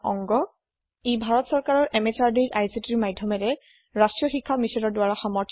ইয়াক সমৰ্থিত কৰিছে national mission on education ICT MHRD government of Indiaৰ দ্বাৰা